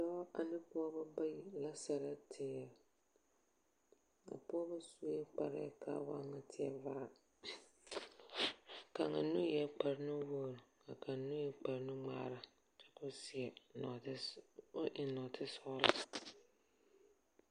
Dɔɔ ane pɔɔbɔ bayi la sɛlɛ teer. A pɔɔbɔ sue kparɛɛ kaa waa ŋa teɛ vaa. kaŋa nu eɛɛ kparnuwoor ka kaŋ nu e kparnuŋmaara kyɛ koo seɛ nɔɔte s o eŋ nɔɔte sɔɔlɔ.